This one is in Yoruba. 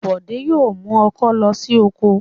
Bọ̀dé yóò mú ọkọ́ lọ sí oko.